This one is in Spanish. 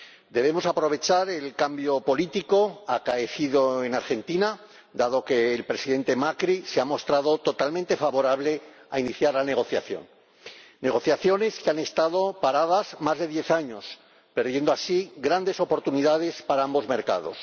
Debemos aprovechar el cambio político acaecido en Argentina, dado que el Presidente Macri se ha mostrado totalmente favorable a iniciar la negociación, negociaciones que han estado paradas más de diez años, con lo que se han perdido así grandes oportunidades para ambos mercados.